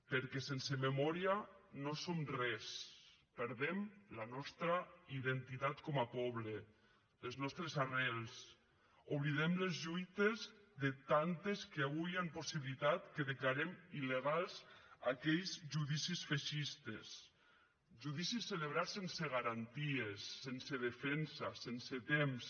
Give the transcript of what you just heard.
perquè sense memòria no som res perdem la nostra identitat com a poble les nostres arrels oblidem les lluites de tantes que avui han possibilitat que declarem il·legals aquells judicis feixistes judicis celebrats sense garanties sense defensa sense temps